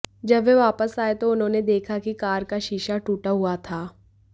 जब वह वापस आए तो उन्होंने देखा कि कार का शीशा टूटा हुआ था